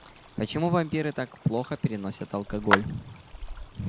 почему вампиры так плохо переносят алкоголь